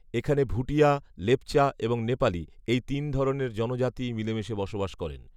এখানে ভুটিয়া, লেপচা এবং নেপালী, এই তিন ধরনের জনজাতিই মিলেমিশে বসবাস করেন।